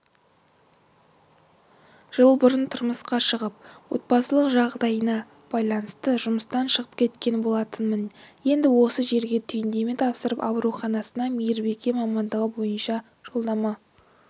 жыл бұрын тұрмысқа шығып отбасылық жағдайыма байланысты жұмыстан шығып кеткен болатынмын енді осы жерге түйіндеме тапсырып ауруханасына мейірбике мамандығы бойынша жолдама